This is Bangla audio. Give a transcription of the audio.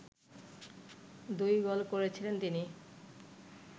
দুই গোল করেছিলেন তিনি